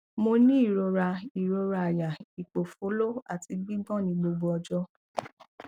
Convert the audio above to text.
mo ní ìrora ìrora àyà ipofolo àti gbigbon ní gbogbo ọjọ